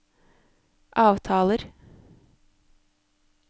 avtaler